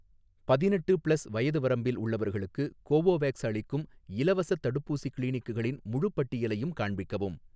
பதினெட்டு ப்ளஸ் வயது வரம்பில் உள்ளவர்களுக்கு கோவோவேக்ஸ் அளிக்கும் இலவசத் தடுப்பூசி கிளினிக்குகளின் முழுப் பட்டியலையும் காண்பிக்கவும்